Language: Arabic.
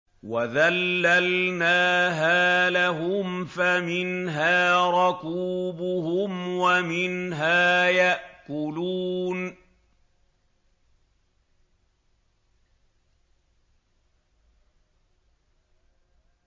وَذَلَّلْنَاهَا لَهُمْ فَمِنْهَا رَكُوبُهُمْ وَمِنْهَا يَأْكُلُونَ